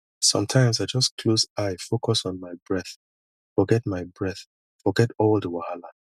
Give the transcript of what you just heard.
sometimes i just close eye focus on my breath forget my breath forget all the wahala